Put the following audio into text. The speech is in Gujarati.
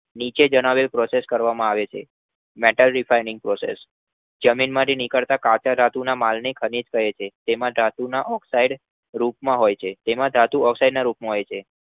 નીચે જણાવેલ process કરવામાં આવે છે. Meta vitamin process જમીન માંથી નીકળતા કાચા ધાતુઓના માલ ને ખનીજ કહે છે તેમાં ધાતુ oxide ના રૂપમાં હોય છે તમે ધાતુ અસાઈડના રૂપ માં હોય છે